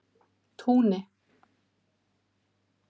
Túni